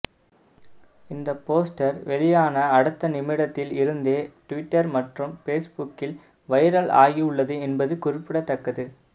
இந்த போஸ்டர் வெளியான அடுத்த நிமிடத்தில் இருந்தே டுவிட்டர் மற்றும் ஃபேஸ்புக்கில் வைரல் ஆகியுள்ளது என்பது குறிப்பிடத்தக்கது